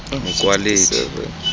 mokwaledi